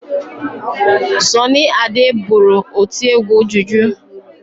Sọnị Ade bụrụ otiegwu juju.